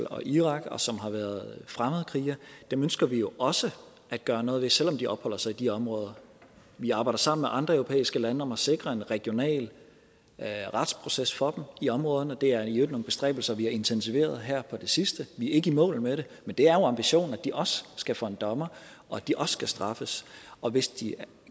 og irak og som har været fremmedkrigere ønsker vi jo også at gøre noget ved selv om de opholder sig i de områder vi arbejder sammen med andre europæiske lande om at sikre en regional retsproces for dem i områderne og det er i øvrigt nogle bestræbelser vi har intensiveret her på det sidste vi er ikke i mål med det men det er jo ambitionen at de også skal for en dommer og at de også skal straffes og hvis de